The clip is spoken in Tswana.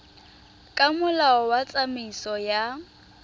ka molao wa tsamaiso ya